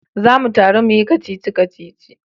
Za mu taru muyi kacici-kacici